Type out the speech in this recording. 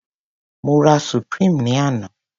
Mo rà supreme ní àná.